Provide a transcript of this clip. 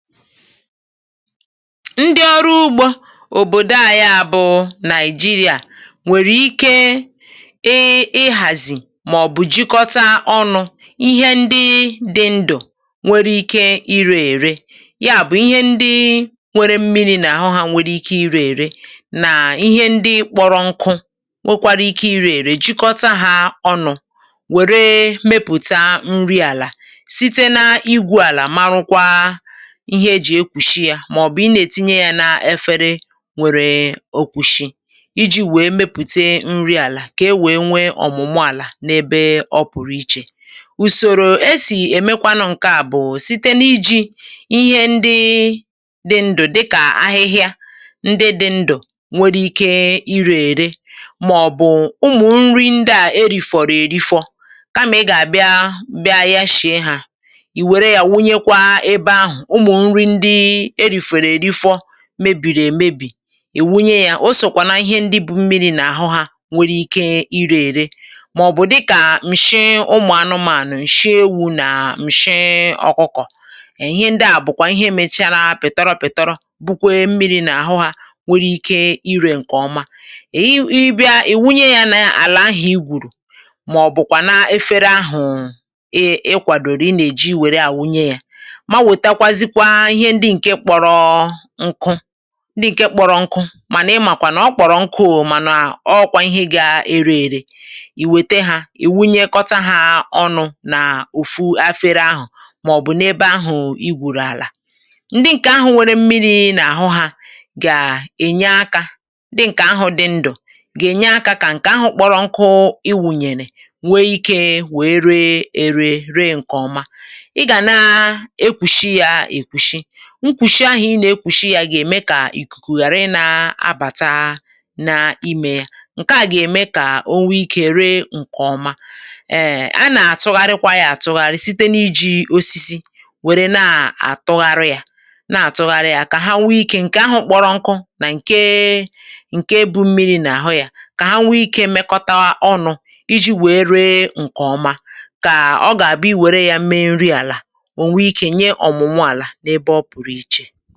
ndị ọrụ ugbȯ òbòdo à, ya bụ̀ Nigeria, nwèrè ike ị iràzì màọ̀bụ̀ jikọta ọnụ̇ ihe ndị dị ndụ̀ um nwere ike irė ère. Ya bụ̀, ihe ndị nwere mmi̇ri̇ n’àhụ ha nwere ike irė ère, nà ihe ndị kpọrọ nkụ nwekwara ike irė ère. Jikọta ha ọnụ̇ nwèrè ike mepụ̀ta nri àlà site n’ígwù̇ àlà, màrụkwa, màọ̀bụ̀ ị nà-ètinye yȧ n’efere nwèrè òkwùshi iji̇ wèe mepùte nri àlà, kà e wèe nwee ọ̀mụ̀mụ àlà n’ebe ọ pụ̀rụ ichè. Ùsòrò e sì èmekwanụ ǹke à bụ̀ site n’iji̇ ihe ndị dị ndụ̀, dịkà ahịhịa ndị dị ndụ̀ nwere ike irè ère, màọ̀bụ̀ ụmụ̀ nri ndị à erìfọ̀rọ̀ èrifọ, kàmà ị gà-àbịa bịa ya, shìe hȧ, ì wère yȧ, wunyekwa ebe ahụ̀ mebìrì èmebì, ì wunye ya. Osòkwà nà ihe ndị bụ̀ mmi̇ri̇ nà àhụ ha nwere ike irė rė, màọ̀bụ̀ dịkà m̀shị ụmụ̀anụmȧnụ̀, m̀shị ewu̇ nà m̀shị ọkụkọ̀ — ihe ndị à bụ̀kwà ihe emèchara pị̀tọrọ pị̀tọrọ, bụkwee mmiri̇ nà àhụ ha nwere ike irė. Ǹkè ọma, ehi, ị bịa ì wunye ya nà àlà ahụ̀ i gwùrù, màọbụ̀kwà nà efere ahụ̀ ị kwàdòrò ị nà èji wère à wunye ya. Ihe ndị ǹke kpọrọ nkụ — ndị ǹke kpọrọ nkụ, mànà ị màkwà nà ọ kpọrọ nkụù — mànà ọọkwa ihe gȧ-ere ere, ì wète hȧ, ì wunyekọta hȧ ọnụ̇ n’ùfu afere ahụ̀, màọ̀bụ̀ n’ebe ahù i wùrù àlà. Ndị ǹkè ahụ̀ nwere mmiri̇ n’àhụ hȧ gà-ènya akȧ, dị ǹkè ahụ̀ dị ndụ̀ gà-ènye akȧ kà ǹkè ahụ̀ kpọrọ nkụ i wùnyèrè nwee ikė wèe ree ere ree. Ǹkè ọma, nkwùshi ahụ̀ ị nà-ekwùshi yȧ gà-ème kà ìkùkù ghàra ịnȧ abàta n’imė yȧ; ǹke à gà-ème kà onwe ikė ree ǹkè ọma. Em a nà-àtụgharịkwa ya àtụgharị site n’iji̇ osisi wère na-àtụgharị yȧ, na-àtụgharị yȧ, kà ha nwe ikė — ǹkè ahụ̀ kpọrọ nkụ nà ǹkè bụ̀ mmi̇ri̇ n’àhụ yȧ — kà ha nwe ikė mekọ̀tà ọnụ̇ iji̇ wèe ree ǹkè ọma, kà ọ gà-àbụ i wère ya mee nri àlà. Oge ị̀chè ọ̀tù ihe nà-ènwekwa ǹkè ọ̀tù ọ̀tù ọ̀tù, ihe nà-ènwekwa ọ̀tù ọ̀tù ọ̀tù ọ̀tù.